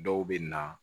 Dɔw bɛ na